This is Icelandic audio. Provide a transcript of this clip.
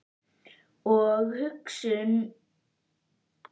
Og hugsunum um pabba þinn fer sífellt fækkandi.